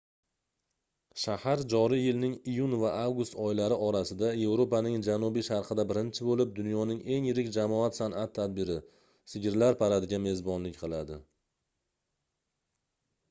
shahar joriy yilning iyun va avgust oylari orasida yevropaning janubi-sharqida birinchi boʻlib dunyoning eng yirik jamoat sanʼat tadbiri sigirlar paradiga mezbonlik qiladi